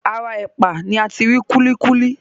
Ara ẹ̀pà ni ati rí kúlíkúlí.